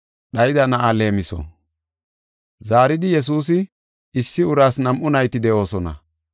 Zaaridi Yesuusi, “Issi uraas nam7u nayti de7oosona.